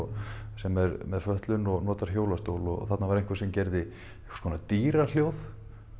sem er með fötlun og notar hjólastól og þarna var einhver sem gerði einhvers konar dýrahljóð